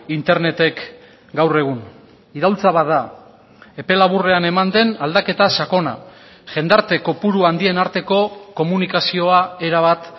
internetek gaur egun iraultza bat da epe laburrean eman den aldaketa sakona jendarte kopuru handien arteko komunikazioa erabat